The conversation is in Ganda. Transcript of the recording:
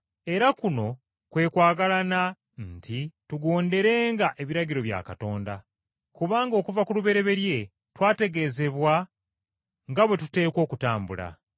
Era kuno kwe kwagalana nti tugonderenga ebiragiro bya Katonda. Kubanga okuva ku lubereberye twategeezebwa nga bwe tuteekwa okutambula.